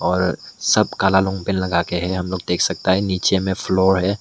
और सब काला लोन पेंट लगा के हैं हम लोग देख सकता है नीचे में फ्लोर है।